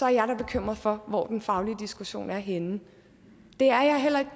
jeg da bekymret for hvor den faglige diskussion er henne det er jeg heller ikke